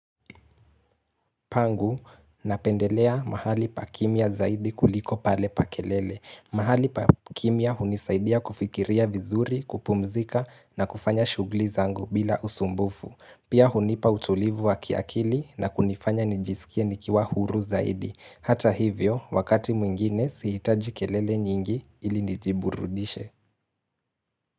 Pangu napendelea mahali pakimia zaidi kuliko pale pa kelele. Mahali pakimya hunisaidia kufikiria vizuri, kupumzika na kufanya shughuli zangu bila usumbufu. Pia hunipa utulivu wa kiakili na kunifanya nijisikie nikiwa huru zaidi. Hata hivyo, wakati mwingine sihitaji kelele nyingi ili nijiburudishe.